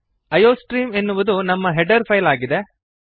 iostream ಎನ್ನುವುದು ನಮ್ಮ header file ಆಗಿದೆ